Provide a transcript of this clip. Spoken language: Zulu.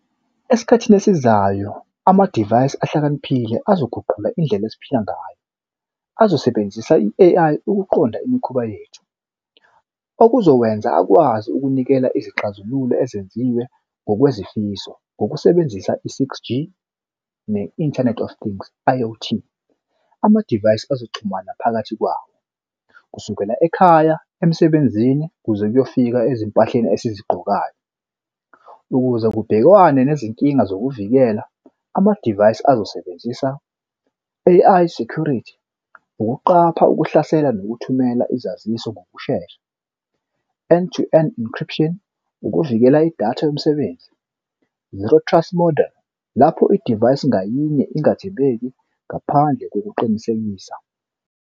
Esikhathini esizayo amadivayisi ahlakaniphile azoguqula indlela esiphila ngayo. Azosebenzisa i-A_I ukuqonda imikhuba yethu okuzokwenza akwazi ukunikela izixazululo ezenziwe ngokwezifiso ngokusebenzisa i-six G ne-inthanethi of things I_O_T. Amadivayisi ozoxhumana phakathi kwawo kusukela ekhaya emsebenzini kuze kuyofika ezimpahleni esizigqokayo. Ukuze kubhekwane nezinkinga zokuvikela amadivayisi azosebenzisa A_I security ukuqapha ukuhlasela nokuthumela izaziso ngokushesha end to end encryption ukuvikela idatha yomsebenzi zero trust model lapho idivayisi ngayinye ingathibeki ngaphandle kokuqinisekisa.